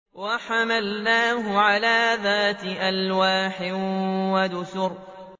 وَحَمَلْنَاهُ عَلَىٰ ذَاتِ أَلْوَاحٍ وَدُسُرٍ